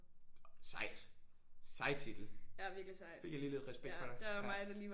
Sejt. Sej titel. Fik jeg lige lidt respekt for dig ja